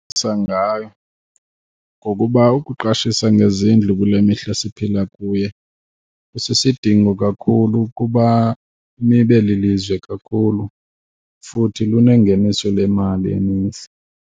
ngayo ngokuba ukuqashisa ngezindlu kule mihla siphila kuye kusisidingo kakhulu ukuba nibe lilizwe kakhulu futhi lunengeniso lemali eninzi.